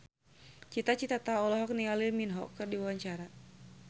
Cita Citata olohok ningali Lee Min Ho keur diwawancara